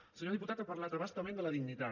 el senyor diputat ha parlat a bastament de la dignitat